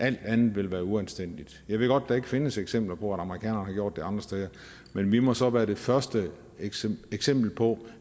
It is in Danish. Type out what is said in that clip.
alt andet ville være uanstændigt jeg ved godt at der ikke findes eksempler på at amerikanerne har gjort det andre steder men vi må så være det første eksempel eksempel på